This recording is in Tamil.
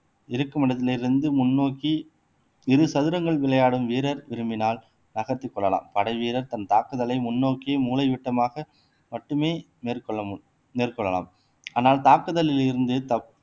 இருக்கும் இடத்தில் இருந்து முன்னோக்கி இரு சதுரங்கள் விளையாடும் வீரர் விரும்பினால் நகர்த்திக் கொள்ளலாம் படைவீரர் தன் தாக்குதலை முன்னோக்கியே மூலைவிட்டமாக மட்டுமே மேற்கொள்ளமு மேற்கொள்ளலாம் ஆனால் தாக்குதலில் இருந்து தப்பு